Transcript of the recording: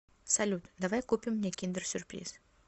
салют давай купим мне киндер сюрприз